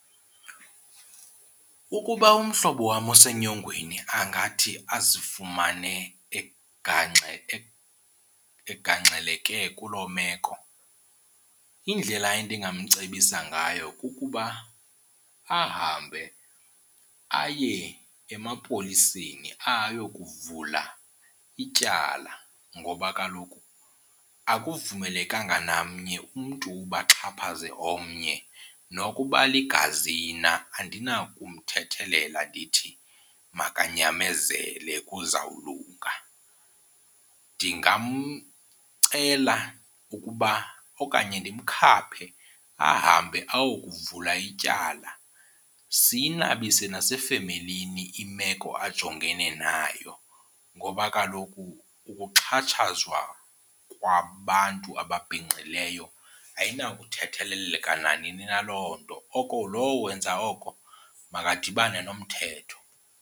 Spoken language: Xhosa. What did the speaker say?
Ukuba umhlobo wam osenyongweni angathi azifumane egangxeleke kuloo meko indlela endingamcebisa ngayo kukuba ahambe aye emapoliseni ayokuvula ityala ngoba kaloku akuvumelekanga namnye umntu uba axhaphaze omnye. Nokuba ligazi na andinakumthethelela ndithi makanyamezele kuzawulunga. Ndingamcela ukuba okanye ndimkhaphe ahambe ayokuvula ityala, siyinabise nasefemelini imeko ajongene nayo ngoba kaloku ukuxhatshazwa kwabantu ababhinqileyo ayinakuthetheleka nanini na loo nto. Oko lowo wenza oko makadibane nomthetho.